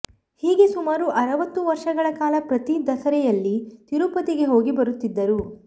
ಹೀಗೆ ಸುಮಾರು ಅರವತ್ತು ವರ್ಷಗಳ ಕಾಲ ಪ್ರತಿ ದಸರೆಯಲ್ಲಿ ತಿರುಪತಿಗೆ ಹೋಗಿ ಬರುತ್ತಿದ್ದರು